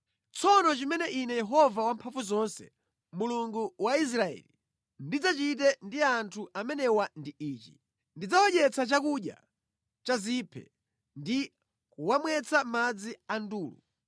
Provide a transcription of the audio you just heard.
Tsono chimene Ine Yehova Wamphamvuzonse, Mulungu wa Israeli ndidzachite ndi anthu amenewa ndi ichi: “Ndidzawadyetsa chakudya cha ziphe ndi kuwamwetsa madzi a ndulu.